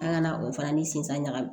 An ka na o fana ni sensan ɲagami